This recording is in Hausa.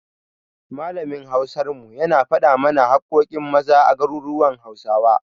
Malamin Hausar mu, yana faɗa mana haƙƙoƙin Maza a garuruwan Hausawa.